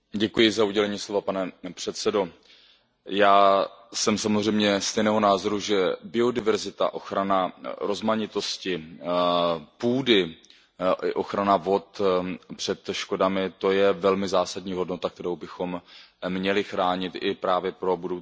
Pane předsedající, já jsem samozřejmě stejného názoru, že biodiverzita, ochrana rozmanitosti půdy i ochrana vod před škodami, to je velmi zásadní hodnota, kterou bychom měli chránit i pro budoucí generace.